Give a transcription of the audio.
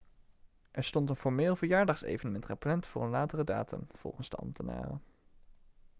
er stond een formeel verjaardagsevenement gepland voor een latere datum volgens de ambtenaren